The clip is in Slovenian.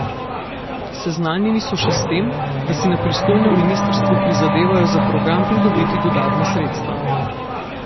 Seznanjeni so še s tem, da si na pristojnem ministrstvu prizadevajo za program pridobiti dodatna sredstva.